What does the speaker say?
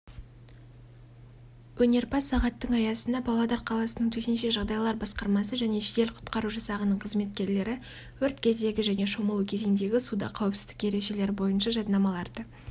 өнерпаз-сағаттың аясында павлодар қаласының төтенше жағдайлар басқармасы және жедел-құтқару жасағының қызметкерлері өрт кездегі және шомылу кезеңдегі суда қауіпсіздік ережелері бойынша жаднамаларды